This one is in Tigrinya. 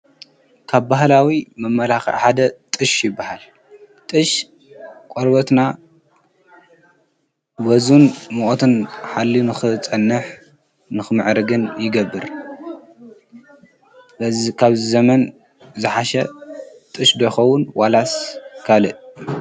ካብ ባህላዊ መመላኽዒ ሓደ ጥሽ ይበሃል ጥሽ ቖርበትና ወዝን ምቆትን ሓልዩ ንክፀንሕ ንኽምዕርግን ይገብር በዚ ካብ ዘመን ዝሓሸ ጥሽ ዶኸዉን ዋላስ ካልእ?